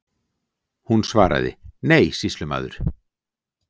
Hún svaraði: Nei, sýslumaður.